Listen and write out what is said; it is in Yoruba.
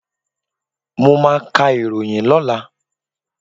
Mọ máa ka ìròyìn lọ́la.